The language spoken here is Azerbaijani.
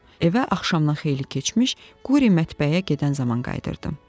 Evə axşamdan xeyli keçmiş Quri mətbəxə gedən zaman qayıdırdı.